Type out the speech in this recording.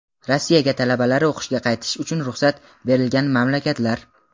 Rossiyaga talabalari o‘qishga qaytish uchun ruxsat berilgan mamlakatlar:.